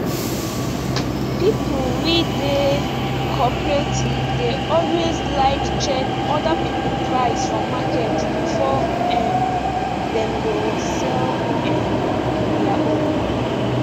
people we dey cooperative dey alway like check other people price for market before um dem go sell um dia own